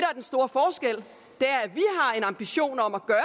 har en ambition om at gøre